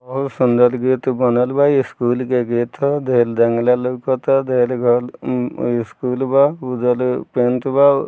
बहुत सुन्दर गेट बनल बा ई स्कूल के गेट ह ढ़ेर जंगला लोकाता ढ़ेर घर उम स्कूल बा उधर पेंट बा।